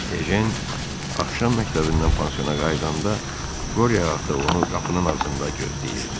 Ejen axşam məktəbindən pansiona qayıdanda, Qorya ata onu qapının ağzında gözləyirdi.